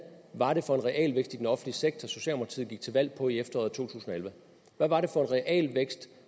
var det for en realvækst i den offentlige sektor socialdemokratiet gik til valg på i efteråret 2011 hvad var det for en realvækst